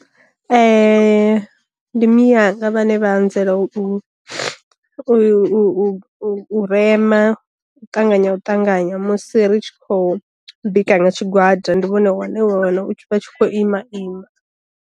Ndi miyanga vhane vha anzela u u u rema ṱanganya u ṱanganya musi ri tshi khou bika nga tshigwada ndi vhone wane wana u vha tshi khou ima ima.